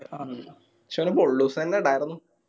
ആ പക്ഷെ അവന് പൊള്ളുസെന്നെ ഇടായിരുന്ന്